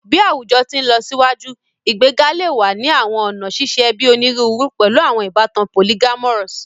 Bi awujọ ti nlọsiwaju, igbega le wa ni awọn ọna ṣiṣe ẹbi oniruuru, pẹlu awọn ibatan polyamorous